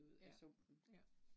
Ja, ja